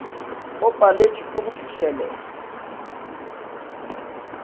o paletšwe ke go fihlelela